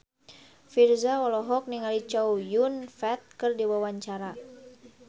Virzha olohok ningali Chow Yun Fat keur diwawancara